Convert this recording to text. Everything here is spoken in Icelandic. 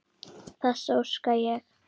Þess óska ég.